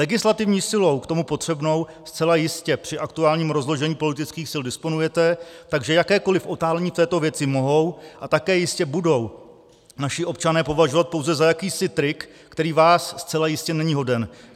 Legislativní silou k tomu potřebnou zcela jistě při aktuálním rozložení politických sil disponujete, takže jakékoliv otálení v této věci mohou, a také jistě budou, naši občané považovat pouze za jakýsi trik, který vás zcela jistě není hoden.